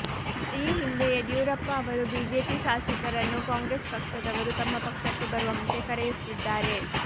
ಈ ಹಿಂದೆ ಯಡಿಯೂರಪ್ಪ ಅವರು ಬಿಜೆಪಿ ಶಾಸಕರನ್ನು ಕಾಂಗ್ರೆಸ್ ಪಕ್ಷದವರು ತಮ್ಮ ಪಕ್ಷಕ್ಕೆ ಬರುವಂತೆ ಕರೆಯುತ್ತಿದ್ದಾರೆ